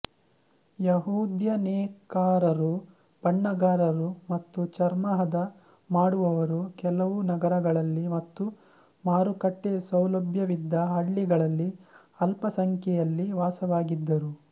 ಯಹೂದ್ಯ ನೇಕಾರರು ಬಣ್ಣಗಾರರು ಮತ್ತು ಚರ್ಮಹದ ಮಾಡುವವರು ಕೆಲವು ನಗರಗಳಲ್ಲಿ ಮತ್ತು ಮಾರುಕಟ್ಟೆ ಸೌಲಭ್ಯವಿದ್ದ ಹಳ್ಳಿಗಳಲ್ಲಿ ಅಲ್ಪಸಂಖ್ಯೆಯಲ್ಲಿ ವಾಸವಾಗಿದ್ದರು